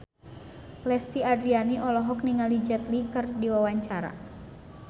Lesti Andryani olohok ningali Jet Li keur diwawancara